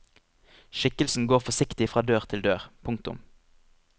Skikkelsen går forsiktig fra dør til dør. punktum